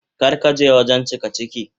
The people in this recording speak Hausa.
Kar ka je wajen cikaciki.